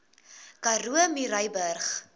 karoo murrayburg